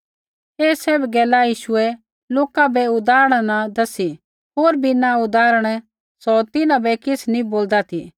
ऐ सैभ गैला यीशुऐ लोका बै उदाहरणा न दसी होर बिना उदाहरण सौ तिन्हां बै किछ़ नैंई बोल्दा ती